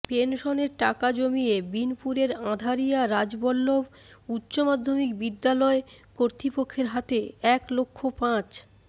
পেনশনের টাকা জমিয়ে বিনপুরের আঁধারিয়া রাজবল্লভ উচ্চ মাধমিক বিদ্যালয় কর্তৃপক্ষের হাতে এক লক্ষ পাঁচ